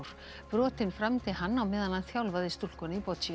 brotin framdi hann á meðan hann þjálfaði stúlkuna í